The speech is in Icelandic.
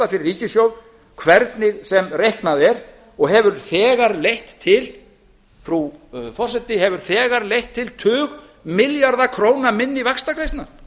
fyrir ríkissjóð hvernig sem reiknað er og hefur þegar leitt til frú forseti tug milljarða króna minni vaxtagreiðslna